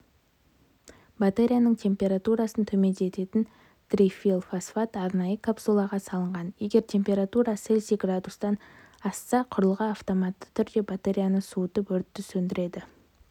батареяның температурасын төмендететін трифенилфосфат арнайы капсулаға салынған егер температура цельсий градустан асса құрылғы автоматты түрде батареяны суытып өртті сөндіреді